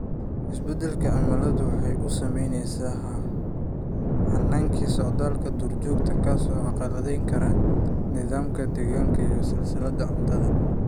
Isbeddelka cimiladu waxa uu saameeyaa hannaankii socdaalka duur-joogta, kaas oo carqaladayn kara nidaamka deegaanka iyo silsiladaha cuntada.